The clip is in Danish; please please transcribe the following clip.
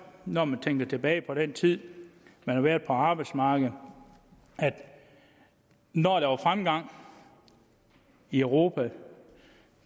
når man tænker tilbage på den tid man har været på arbejdsmarkedet at når der var fremgang i europa